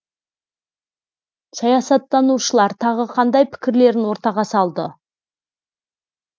саясаттанушылар тағы қандай пікірлерін ортаға салды